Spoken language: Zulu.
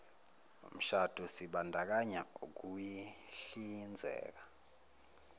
mshado sibandakanya ukuyihlinzeka